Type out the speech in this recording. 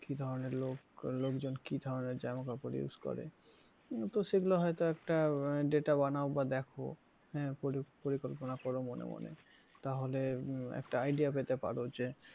কি ধরনের লোক লোকজন কি ধরনের জামাকাপড় use করে এ তো সেগুলো হয়তো একটা data বানাও বা দেখো হ্যাঁ পরিকল্পনা কর মনে মনে তাহলে একটা idea পেতে পারো যে,